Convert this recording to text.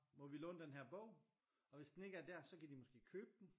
Må vi låne den her bog? Og hvis den ikke er dér så kan de måske købe den